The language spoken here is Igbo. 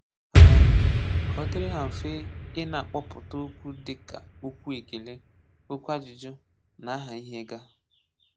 um Kà ó dìrị ha mfe ịnakpọ̀pụ̀tà okwu dị ka okwù èkèlè, okwù ajụ́jụ́, na àhà íhè gā…